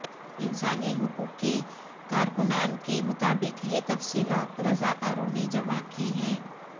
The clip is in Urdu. انسانی حقوق کےکارکنان کے مطابق یہ تفصیلات رضاکاروں نے جمع کی ہیں